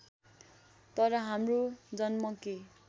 तर हाम्रो जन्म के